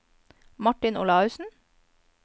Martin Olaussen